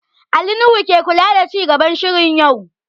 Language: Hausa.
Ali Nuhu ke kula da ci gaban shirin yau